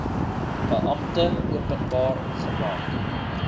beampte openbaar gemaak